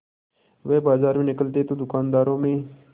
वह बाजार में निकलते तो दूकानदारों में